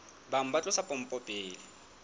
bang ba tlosa pompo pele